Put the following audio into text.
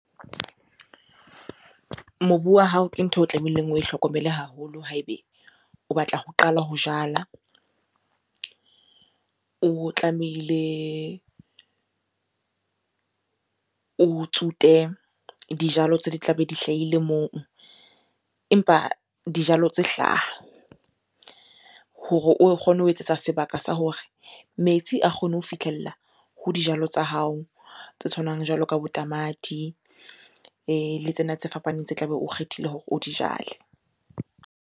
Mobu wa hao ke ntho o tlameileng oe hlokomele haholo ha ebe o batla ho qala ho jala. O tlamehile o tsute dijalo tse di tlabe di hlahile moo. Empa dijalo tse hlaha hore o kgone ho etsetsa sebaka sa hore metsi a kgone ho fihlella ho dijalo tsa hao tse tshwanang jwalo ka bo tamati le tsena tse fapaneng tse tla be o kgethile hore o di jale.